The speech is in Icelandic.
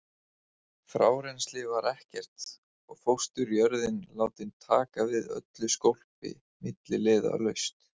Frárennsli var ekkert og fósturjörðin látin taka við öllu skólpi milliliðalaust.